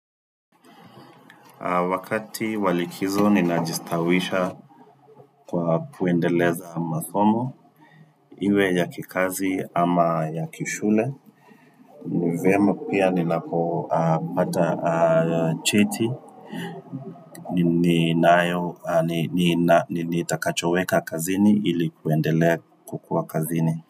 Wakati wa likizo ninajistawisha kwa kuendeleza masomo, iwe ya kikazi ama ya kishule. Ni vyema pia ninapopata cheti, ninaayo, nitakachoweka kazini ili kuendelea kukua kazini.